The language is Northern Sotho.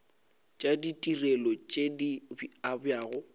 tša ditirelo tše di abjago